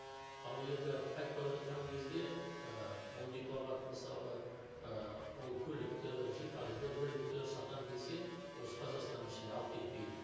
ал енді қайтып бара жатқан кезде ы ол дипломат мысалы ы ол көлікті жиһазды мүлікті сатамын десе осы қазақстанның ішінде алып кетпей